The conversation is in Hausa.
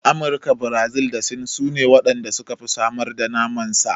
Amurika, Birazil da Sin sune waɗan da suka fi samar da naman sa.